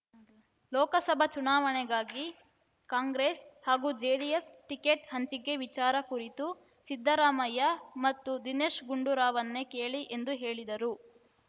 ಲೋಕಸಭಾ ಚುನಾವಣೆಗಾಗಿ ಕಾಂಗ್ರೆಸ್ ಹಾಗೂ JDS ticket ಹಂಚಿಕೆ ವಿಚಾರ ಕುರಿತು ಸಿದ್ಧರಾಮಯ್ಯ ಮತ್ತು ದಿನೇಶ ಗುಂಡೂರಾವರನ್ನೇ ಕೇಳಿ ಎಂದು ಹೇಳಿದರು